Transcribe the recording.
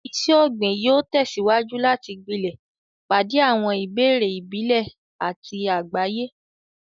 Iṣẹ́ ọ̀gbìn yóò tẹ̀síwájú láti gbilẹ̀, pàdé àwọn ìbéèrè ìbílẹ̀ àti àgbáyé.